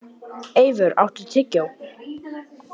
Eivör, áttu tyggjó?